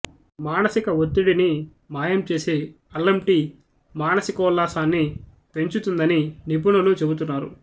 మానసిక ఒత్తిడిని మాయం చేసే అల్లం టీ మానసికోల్లాసాన్ని పెంచుతుందని నిపుణులు చెబుతున్నారు